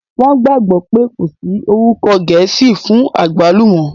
Wọ́n gbàgbọ́ pé kò sí orúkọ gẹ̀ẹ́sì fún àgbálùmọ́